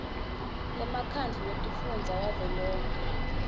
lemkhandlu wetifundza wavelonkhe